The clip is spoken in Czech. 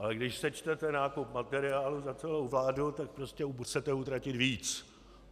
Ale když sečtete nákup materiálu za celou vládu, tak prostě chcete utratit víc.